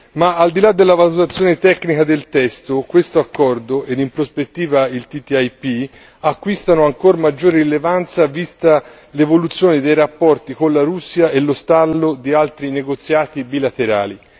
Ma al di là della valutazione tecnica del testo, questo accordo ed in prospettiva il TTIP acquistano ancora maggior rilevanza vista l'evoluzione dei rapporti con la Russia e lo stallo di altri negoziati bilaterali.